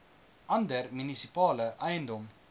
ander munisipale eiendom